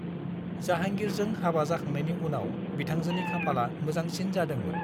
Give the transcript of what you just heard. जाहांगीरजों हाबा जाखांनायनि उनाव बिथांजोनि खाफाला मोजांसिन जादोंमोन।